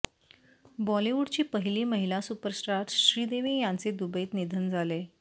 बॉलिवूडची पहिली महिला सुपरस्टार श्रीदेवी यांचे दुबईत निधन झाले